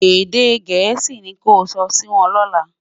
èdè gèésì ní kò sò Si Won lola